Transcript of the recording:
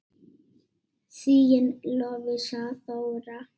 Þín Lovísa Þóra.